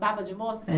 Baba de moça?